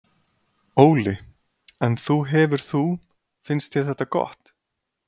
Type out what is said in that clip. Óli: En þú hefur þú, finnst þér þetta gott?